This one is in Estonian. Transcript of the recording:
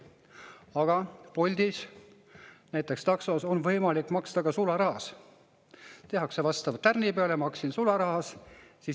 Aga Bolti taksos näiteks on võimalik maksta ka sularahas, tehakse vastav tärn peale, maksin sularahas.